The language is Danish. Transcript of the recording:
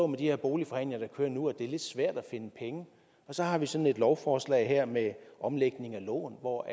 med de her boligforhandlinger der kører nu er lidt svært at finde penge og så har vi sådan et lovforslag her med omlægning af lån hvor